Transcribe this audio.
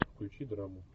включи драму